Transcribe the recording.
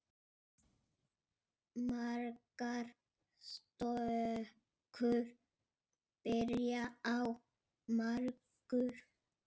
Margar stökur byrja á margur.